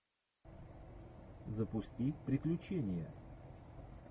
запусти приключения